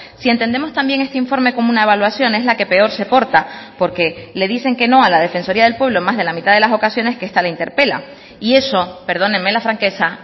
si entendemos también este informe como una evaluación es la que peor se porta porque le dicen que no a la defensoría del pueblo más de la mitad de las ocasiones que esta le interpela y eso perdóneme la franqueza